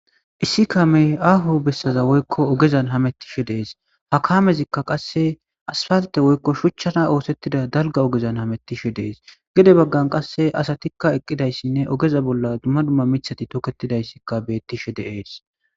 Issi kamey ahu bessaza woykko ogezan hamettishe dees ha kaamezikka qasse asfalte woykko shuchchana oosettida dalga ogezan hamettishe dees gede baggan qasse asatikka eqqidayssinne ogeza bolla dumma dumma mithati toketidayssikka beettishe deees.